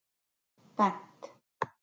Bent